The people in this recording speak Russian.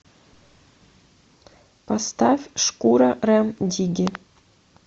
поставь шкура рем дигги